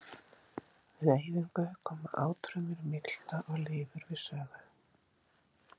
Við eyðingu koma átfrumur í milta og lifur við sögu.